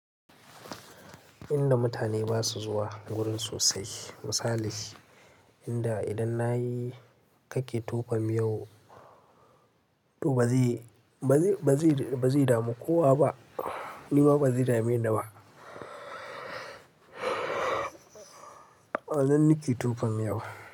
Inda mutane ba su zuwa wurin sosai. Misali inda idan na yi kake tofa miyau, to ba zai damu kowa ba. Ni ma ba zai dame ni ba. A nan nike tofa miyau.